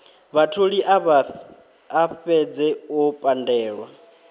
vhatholi a fhedze o pandelwa